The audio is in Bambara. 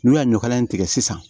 N'u y'a ɲɔkala in tigɛ sisan